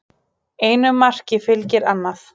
Einu marki fylgir annað